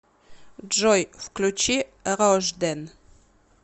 джой включи рождэн